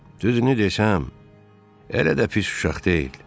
Düzünü desəm, elə də pis uşaq deyil.